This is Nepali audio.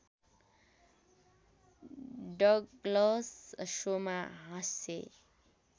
डगलस सोमा हास्य